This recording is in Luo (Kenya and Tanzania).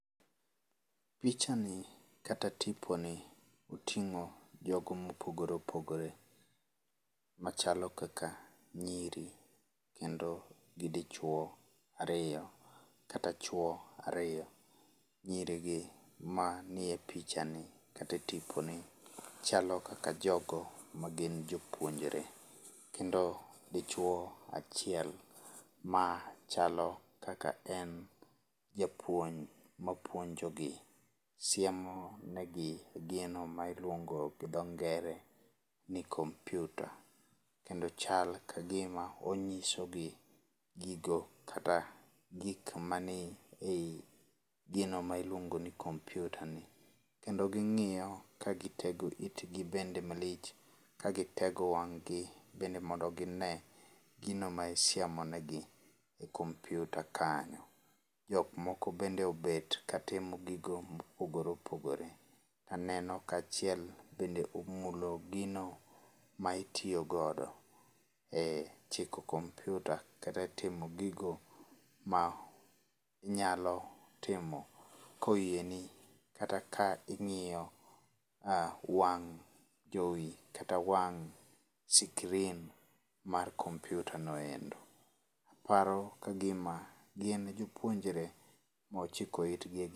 Pichani kata tiponi oting'o jogo mopogore opogore machalo kaka nyiri kendo gi dichuo ariyo kata chuo ariyo. Nyirigi mani e pichani kata e tiponi chalo kaka jogo magin jopuonjre, kendo dichuo achiel machalo kaka en japuonj mapuonjogi. Siemonigi gino ma iluongo gi dho ngere ni kompiuta kendo chal kagima onyisogi gigo kata gik mani ei gino mailuongo ni kompiutano. Kendo ging'iyo kagitego itgi bende malich, kagitego wang'gi mondo gine gino ma isiemo negi e kompiuta kanyo. Jok moko bende obet katimo gigo mopogore opogore. Aneno ka achiel bende omulo gino ma itiyogodo e chiko kompiuta kata timo gigo manyalotimo koyieni kata ka ing'iyo wang' jowi kata wang' screen mar kompiuta noendo. Aparo kagima gin jopuonjre mochiko itgi.